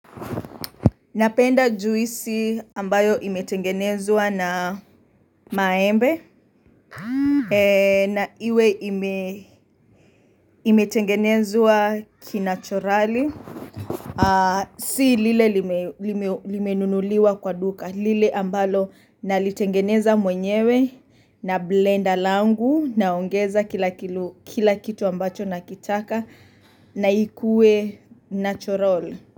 Napenda juisi ambayo imetengenezwa na maembe, na iwe imetengenezwa kinachorali. Si lile limenunuliwa kwa duka, lile ambalo nalitengeneza mwenyewe, na blender langu, naongeza kila kitu ambacho nakitaka, na ikuwe natural.